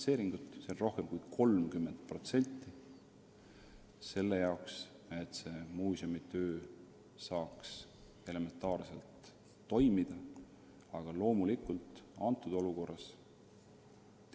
See kasv on rohkem kui 30%, et muuseumi töö saaks elementaarselgi tasemel toimida.